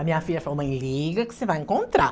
A minha filha falou, mãe, liga que você vai encontrar.